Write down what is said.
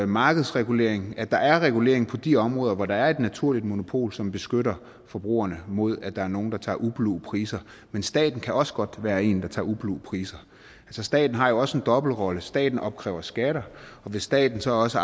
markedsregulering at der er en regulering på de områder hvor der er et naturligt monopol som beskytter forbrugerne mod at der er nogen der tager ublu priser men staten kan også godt være en der tager ublu priser staten har jo også en dobbeltrolle staten opkræver skatter og hvis staten så også